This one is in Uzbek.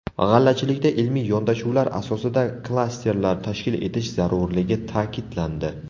G‘allachilikda ilmiy yondashuvlar asosida klasterlar tashkil etish zarurligi ta’kidlandi.